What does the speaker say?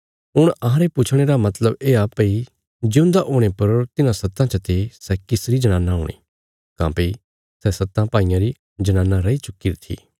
हुण अहांरे पुछणे रा मतलब येआ भई जिऊंदा हुणे पर तिन्हां सत्तां चते सै किसरी जनाना हूणी काँह्भई सै सत्तां भाईयां री जनाना रैई चुक्कीरी थी